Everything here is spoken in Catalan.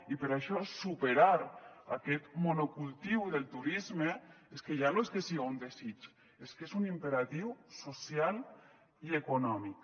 i per això superar aquest monocultiu del turisme és que ja no és que siga un desig és que és un imperatiu social i econòmic